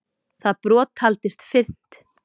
Það brot taldist fyrnt.